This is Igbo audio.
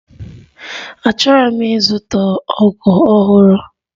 Achọrọ m ịzụta ọgụ ọhụrụ.